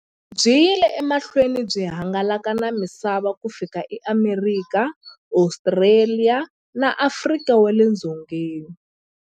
Byi yile emahlweni byi hangalaka na misava ku fika e Amerika, Ostraliya na Afrika wale dzongeni.